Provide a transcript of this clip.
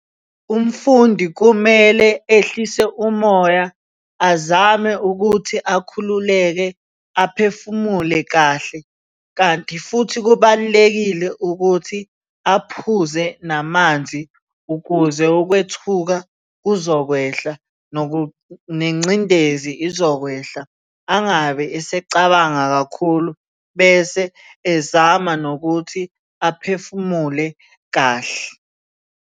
Umfundi kumele ehlise umoya azame ukuthi akhululeke aphefumule kahle, kanti futhi kubalulekile ukuthi aphuze namanzi ukuze ukwethuka kuzokwehla nengcindezi izokwehla. Angabe esecabanga kakhulu bese ezama nokuthi aphefumule kahle.